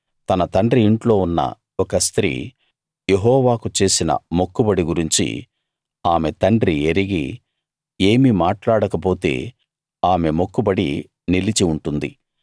తన తండ్రి ఇంట్లో ఉన్న ఒక స్త్రీ యెహోవాకు చేసిన మొక్కుబడి గురించి ఆమె తండ్రి ఎరిగి ఏమీ మాట్లాడకపోతే ఆమె మొక్కుబడి నిలిచి ఉంటుంది